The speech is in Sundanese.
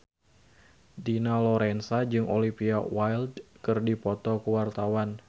Dina Lorenza jeung Olivia Wilde keur dipoto ku wartawan